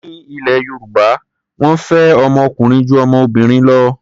Ní ilẹ̀ Yorùbá, wọ́n fẹ́ ọmọ ọkùnrin ju ọmọbìnrin lọ.